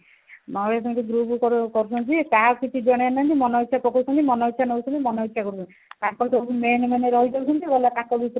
ଆଉ ଏପଟେ group କରୁ କରୁଛନ୍ତି ଯେ କାହାକୁ କିଛି ଜଣଉନାହାନ୍ତି ମନଇଛା ପକଉଛନ୍ତି ମନଇଛା ନଉଛନ୍ତି ମନଇଛା କରୁଛନ୍ତି ତାଙ୍କର ତ main main ରହି ଯାଉଛନ୍ତି ଗଲା ତାଙ୍କ ଭିତରେ ତ